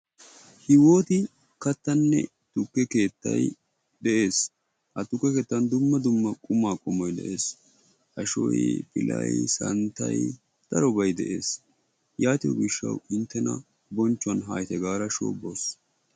hiwoti kattanne tukke keettay de'ees. ha tukke keettan dumma dumma qumaa qommoy de'ees. Ashoy, pilay santtay darobay de'ees.